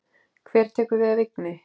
Hver tekur við af Vigni?